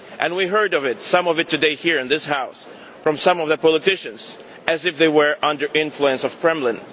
united. We have heard that some of it today, here in this House from some of the politicians as if they were under the influence of the Kremlin.